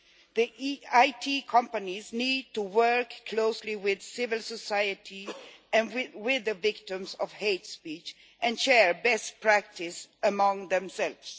The IT companies need to work closely with civil society and with the victims of hate speech and share best practice among themselves.